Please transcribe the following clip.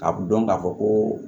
A bɛ dɔn k'a fɔ ko